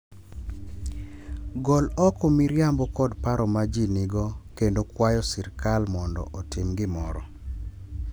Gol oko miriambo kod paro ma ji nigo, kendo kwayo sirkal mondo otim gimoro,